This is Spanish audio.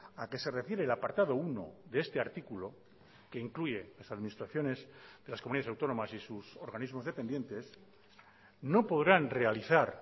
a que se refiere el apartado uno de este artículo que incluye las administraciones de las comunidades autónomas y sus organismos dependientes no podrán realizar